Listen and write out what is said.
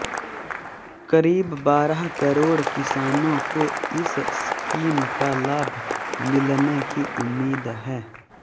करीब बारह करोड़ किसानों को इस स्कीम का लाभ मिलने की उम्मीद है